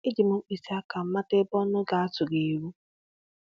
E ji m mkpịsị aka m mata ebe ọnụ ga-atụ ga-eru